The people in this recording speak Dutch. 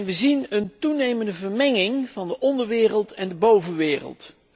Wij zien een toenemende vermenging van de onderwereld en de bovenwereld.